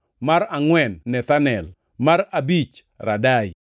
mar angʼwen Nethanel, mar abich, Radai,